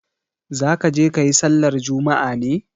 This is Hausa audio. Za ka je ka yi sallar juma'a ne?